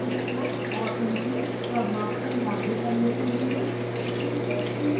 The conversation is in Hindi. वास्तविक विस्फोट और उनके प्रभाव को मॉडल करने के लिए